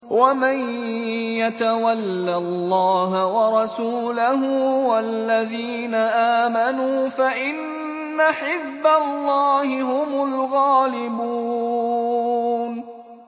وَمَن يَتَوَلَّ اللَّهَ وَرَسُولَهُ وَالَّذِينَ آمَنُوا فَإِنَّ حِزْبَ اللَّهِ هُمُ الْغَالِبُونَ